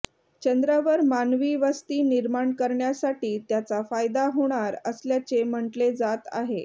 चंद्रावर मानवी वस्ती निर्माण करण्यासाठी त्याचा फायदा होणार असल्याचे म्हटले जात आहे